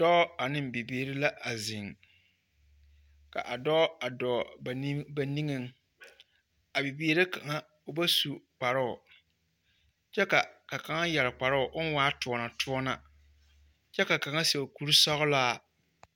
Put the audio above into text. Dɔɔ ane bibiiri la a zeŋ. Ka dɔɔ a dɔɔ ba niŋ… ba niŋeŋ. A biiri kaŋa, o ba su kparoo kyɛ ka kaŋa yɛre kparoo oŋ waa toɔnatoɔna kyɛ ka kaŋa seɛ kuri sɔgelaa.